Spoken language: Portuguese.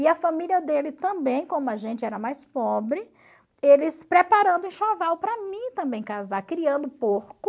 E a família dele também, como a gente era mais pobre, eles preparando enxoval para mim também casar, criando porco.